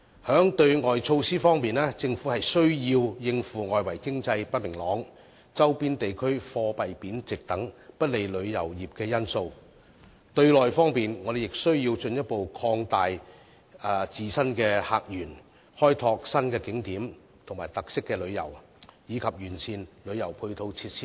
在對外方面，政府必須應付外圍經濟不明朗、周邊地區貨幣貶值等不利旅遊業的因素；對內方面，我們亦須進一步擴大自身的客源，開拓新景點和特色旅遊，以及完善旅遊配套設施等。